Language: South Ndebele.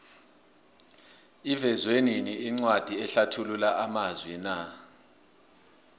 ivezwenini incwadi enlathulula amazwina